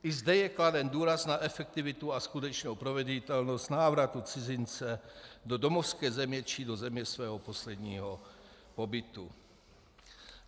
I zde je kladen důraz na efektivitu a skutečnou proveditelnost návratu cizince do domovské země či do země svého posledního pobytu.